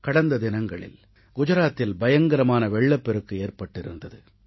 கடந்த தினங்களில் குஜராத்தில் பயங்கரமான வெள்ளப்பெருக்கு ஏற்பட்டிருந்தது